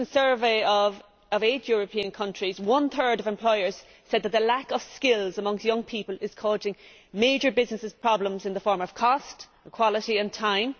In a recent survey of eight European countries, one third of employers said that the lack of skills among young people is causing major businesses problems in the form of cost, quality and time.